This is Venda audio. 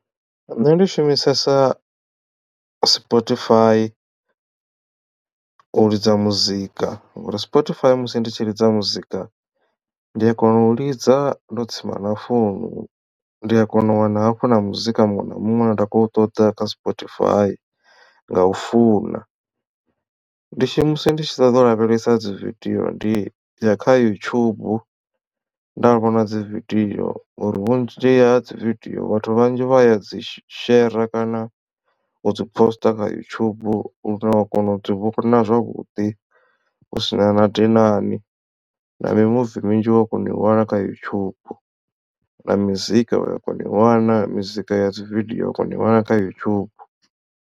Nṋe ndi shumisesa spotify u lidza muzika ngori spotify musi ndi tshi ḽidza muzika ndi a kona u lidza ndo tsima na founu ndi a kona u wana hafhu na muzika muṅwe na muṅwe une nda khou ṱoḓa kha spotify nga u funa. Ndi shumisa ndi tshi ṱoḓa u lavhelesa dzi video ndi ya kha youtube nda vhona dzi video ngori vhunzhi ha dzi video vhathu vhanzhi vha ya dzi shera kana u dzi poster kha yutshubu lune wa kona u dzi vhona zwavhuḓi husina na dinani na mimuvi minzhi wa kona u i wana kha yutshubu na mizika uwa kona u i wana mizika ya dzividio wa kona u i wana kha yutshubu.